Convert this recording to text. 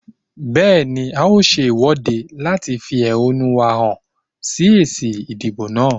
Bẹ́ẹ̀ni, a ó ṣe ìwọ́de láti fi ẹ̀húnú wá hàn sí èsì ìdìbò náà.